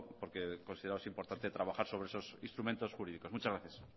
porque consideramos importante trabajar sobre esos instrumentos jurídicos muchas gracias